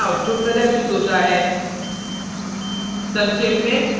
screen पर निम्न output प्रदर्शित होता है